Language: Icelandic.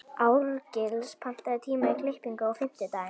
Árgils, pantaðu tíma í klippingu á fimmtudaginn.